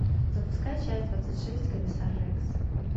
запускай часть двадцать шесть комиссар рекс